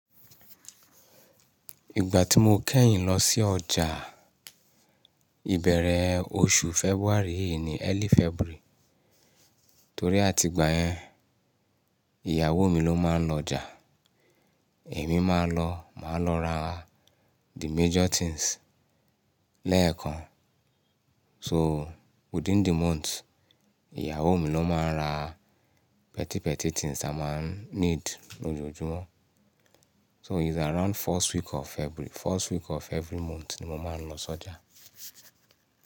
Ìgbà tí mo kẹ́yìn lọ sí ọjà, ìbẹ̀rẹ̀ oṣù February yìí ni early February. Torí àti ìgbà yẹn, ìyàwó mi ló máa ń lọ ọjà. Èmi máa lọ, màá lọ ra the major things lẹ́ẹ̀kan. So within the month, ìyàwó mi ló máa ń ra petty petty things a máa ń need lójoojúmọ́. So it's around first week of February, first week of every month ni mo máa ń lọ sójà.